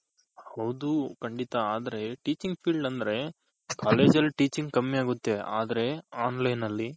ಹೌದು ಖಂಡಿತ ಆದ್ರೆ Teaching field ಅಂದ್ರೆ college Teaching ಕಮ್ಮಿ ಆಗುತ್ತೆ ಆದ್ರೆ online ಅಲ್ಲಿ.